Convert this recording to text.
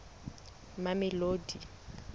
mamelodi